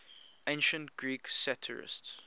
ancient greek satirists